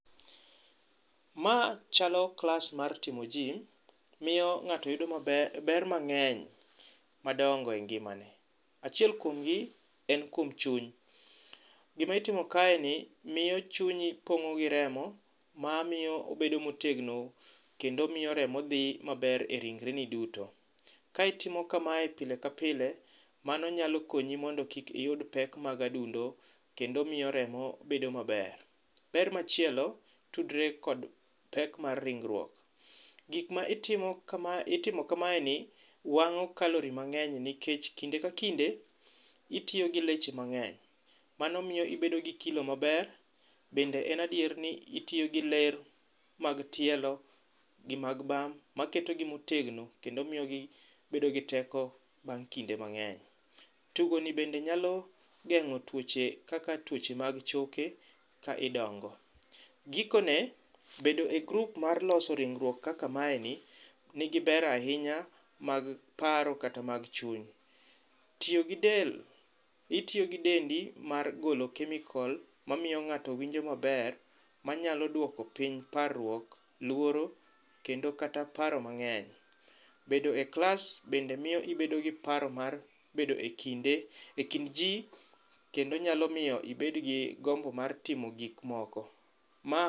Ma chalo klas mar timo jim. Miyo ng'ato yudo ber mang'eny madongo e ngimane. Achiel kuomgi en kum chuny. Gima itimo kaeni miyo chunyi pong'o gi remo mamio obedo motegno kendo miyo remo dhi maber e ringreni duto. Ka itimo kamae pile ka pile mano nyalo konyi mondo kik iyud pek mag adundo kendo miyo remo bedo maber. Ber machielo tudre kod pek mar ringruok. Gik ma itimo kamaeni wang'o calorie mang'eny nikech kinde ka kinde itiyogi leche mang'eny. Mano miyo ibedo gi kilo maber bende en adier ni itiyogi ler mag tielo gi mag bamb maketogi motegno kendo mio gibedo gi teko bang' kinde mang'eny. Tugoni bende nyalo geng'o tuoche kaka tuoche mag choke ka idongo. Gikone bedo e group mar loso ringruok kaka mae ni, nigi ber ainya mag paro kata mag chuny. Tiyogi del, itiyogi dendi mar golo chemical mamio ng'ato winjo maber manyalo duoko piny parruok, luoro kendo kata paro mang'eny. Bedo e klas bende miyo ibedogi paro mar bedo e kind jii kendo nyalo miyo ibedgi gombo mar timo gikmoko. Ma